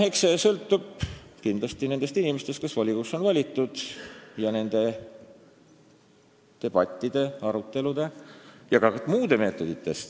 Eks see sõltu kindlasti nendest inimestest, kes volikogusse on valitud, ja nendest debattidest, aruteludest ja ka muudest meetoditest.